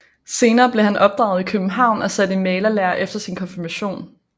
Senere blev han opdraget i København og sat i malerlære efter sin konfirmation